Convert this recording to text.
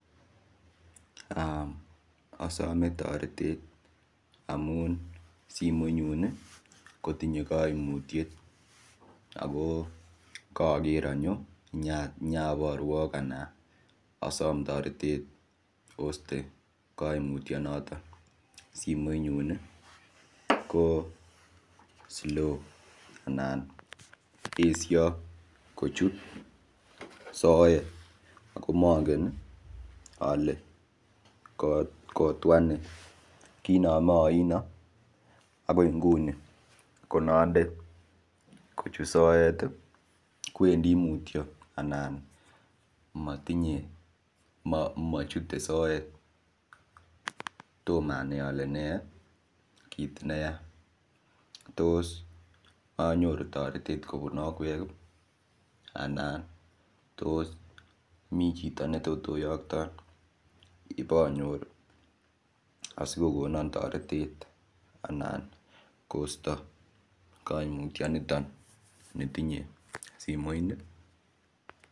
Asome toretet amun simoit nyun kotinye koimutiet ako kaker anyo nyaporwok ana asom toretet oiste koimutio notok simoit nyu ko slow anan esio kochut soet ako mongen ale kotwa nee kinome oino akoi nguni konande kochut soet kowendi mutio anan machute soet toma anai ale me kiit neyaa tos anyoru toretet kobun akwek anan tos mi chito netot oyokton ipanyor asikokonon toretet anan kosto koimutionitok netinyei simoini.